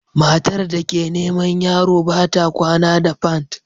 Matar da ke neman yaro ba ta kwana da pant